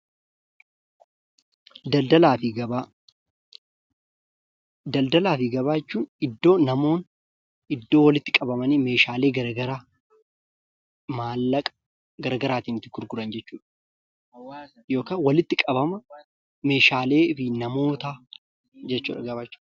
Daldaala fi gabaa jechuun iddoolee namoonni walitti qabamanii meeshaalee garagaraa maallaqa garagaraatti gurguran jechuudha. Gabaa jechuun walitti qabama meeshaalee fi namootaa jechuudha.